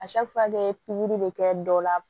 pikiri bɛ kɛ dɔw la